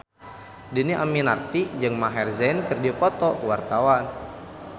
Dhini Aminarti jeung Maher Zein keur dipoto ku wartawan